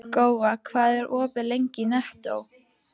Góa, hvað er opið lengi í Nettó?